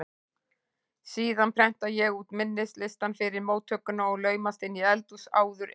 Síðan prenta ég út minnislistann fyrir móttökuna og laumast inn í eldhús áður en